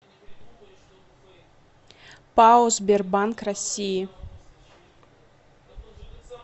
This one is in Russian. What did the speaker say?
пао сбербанк россии